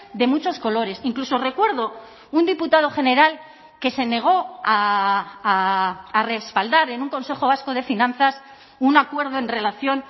de muchos colores incluso recuerdo un diputado general que se negó a respaldar en un consejo vasco de finanzas un acuerdo en relación